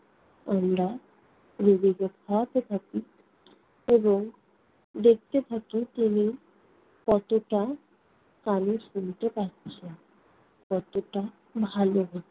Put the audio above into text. আমরা রোগীকে খাওয়াতে থাকি এবং দেখতে থাকি তিনি কতটা কানে শুনতে পাচ্ছে, কতটা ভালো হচ্ছে।